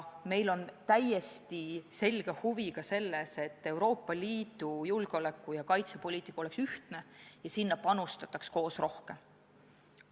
Meie täiesti selge huvi on ka see, et Euroopa Liidu julgeoleku- ja kaitsepoliitika oleks ühtne ja sinna panustataks koos rohkem.